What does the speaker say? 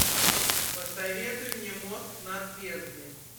посоветуй мне мост над бездной